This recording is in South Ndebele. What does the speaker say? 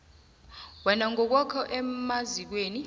wena ngokwakho emazikweni